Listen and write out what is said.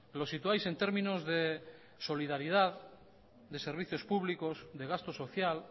lo situáis en términos de solidaridad de servicios públicos de gasto social